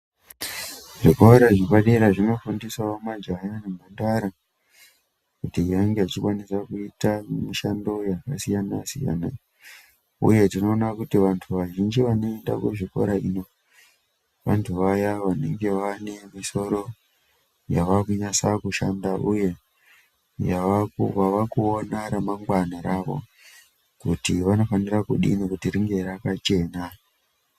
Zvikora zvepadera zvinofundisavo majaha nemhandara kuti zvinge zvichikwanisa kuita mishando yakasiyana-siyana, uye tinoona kuti vantu vazhinji vanoenda kuzvikora iyo vantu vaya vanenge vane misoro yavakunyasa kushanda, uye vavakuona ramangwana ravo kuti vanofanira kudini kuti ringe rakachena.